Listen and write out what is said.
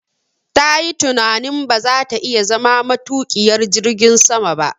Tayi tunanin ba za ta iya zama matuƙiyar jirgin sama ba